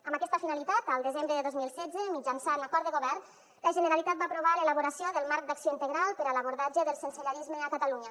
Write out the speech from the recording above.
amb aquesta finalitat el desembre de dos mil setze mitjançant acord de govern la generalitat va aprovar l’elaboració del marc d’acció integral per a l’abordatge del sensellarisme a catalunya